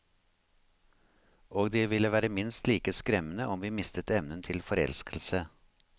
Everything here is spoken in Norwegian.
Og det ville være minst like skremmende om vi mistet evnen til forelskelse.